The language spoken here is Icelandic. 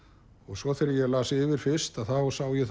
svo þegar ég las yfir fyrst þá sá ég